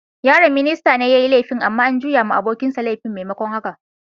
Yaron ministan ne yayi laifin, amma an juyo ma abokin sa laifin maimakon haka.